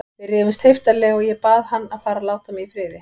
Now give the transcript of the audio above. Við rifumst heiftarlega og ég bað hann að fara og láta mig í friði.